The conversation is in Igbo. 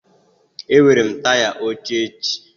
Enwere m taya óché éshị